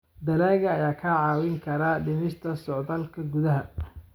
Dalagga ayaa kaa caawin kara dhimista socdaalka gudaha.